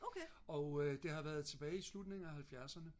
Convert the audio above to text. og det har været tilbage i slutningen af 70'erne